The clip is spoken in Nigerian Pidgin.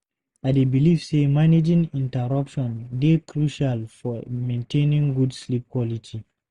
I dey believe say managing interruptions dey crucial for maintaining good sleep quality.